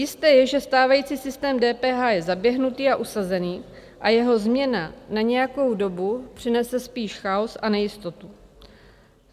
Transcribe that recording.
Jisté je, že stávající systém DPH je zaběhnutý a usazený a jeho změna na nějakou dobu přinese spíš chaos a nejistotu.